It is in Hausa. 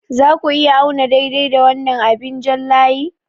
Za ku iya auna daidai da wannan abin jan layi?